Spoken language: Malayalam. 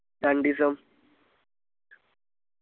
രണ്ടീസം